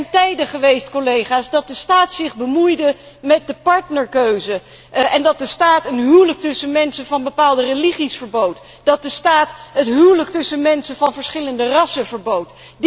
Er zijn tijden geweest, dat de staat zich bemoeide met de partnerkeuze en dat de staat een huwelijk tussen mensen van bepaalde religies verbood, dat de staat het huwelijk tussen mensen van verschillende rassen verbood.